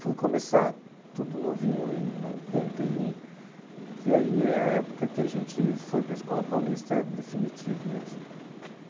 Fui começar tudo novinho, em noventa e um, que aí é a época que a gente foi para a Escola Paulista definitivo mesmo.